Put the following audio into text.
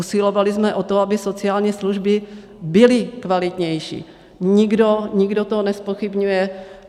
Usilovali jsme o to, aby sociální služby byly kvalitnější, nikdo to nezpochybňuje.